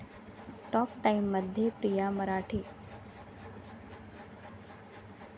talk टाइम'मध्ये प्रिया मराठे